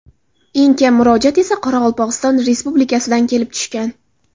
Eng kam murojaat esa Qoraqalpog‘iston Respublikasidan kelib tushgan.